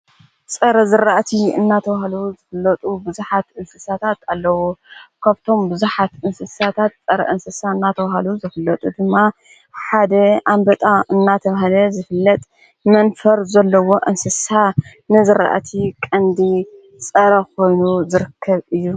ጸረ ዘረእቲ እናተዉሃሉ ዘፍለጡ ብዙኃት እንስሳታት ኣለዉ ከብቶም ብዙኃት እንስሳታት ጸረ እንስሳ እናተዉሃሉ ዝፍለጡ ድማ ሓደ ኣምበጣ እናተውሃደ ዝፍለጥ መንፈር ዘለዎ እንስሳ ንዘረእቲ ቐንዲ ጸረ ኾይኑ ዘርከብ እዩ።